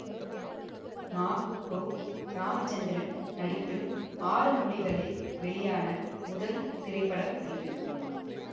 மா கோ ராமச்சந்திரன் நடிப்பில் ஆறு மொழிகளில் வெளியான முதல் திரைப்படம் இது